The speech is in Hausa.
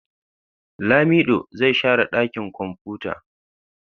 Lamido zai share dakin kwamfuta.